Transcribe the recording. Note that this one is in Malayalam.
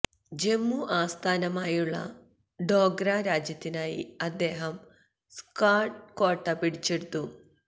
ജമ്മു ആസ്ഥാനമായുള്ള ഡോഗ്ര രാജ്യത്തിനായി അദ്ദേഹം സ്കാർഡു കോട്ട പിടിച്ചെടുത്തു